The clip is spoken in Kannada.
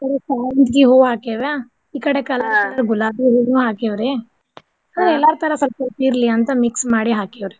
ಶಾವಂತ್ಗಿ ಹೂವ ಹಾಕ್ಯಾವ್ರ ಈ ಕಡೆ ಕೆಳಗ ಗುಲಾಬಿ ಹೂವು ಹಾಕೇವ್ರೀ ಹ ಎಲ್ಲಾರ್ ತರ ಸಲ್ಪ ಸಲ್ಪ ಇರ್ಲಿ ಅಂತ mix ಮಾಡಿ ಹಾಕೇವ್ರೀ.